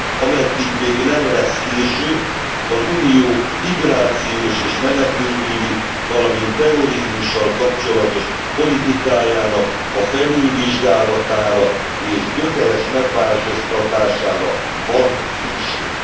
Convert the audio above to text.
Ameddig még nem lesz késő, az Unió migrációs és menekültügyi, valamint terrorizmussal kapcsolatos politikájának a felülvizsgálatára és gyökeres megváltoztatására van szükség!